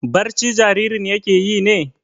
Barci jaririn yake yi ne?